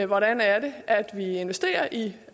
hvordan er det at vi investerer i de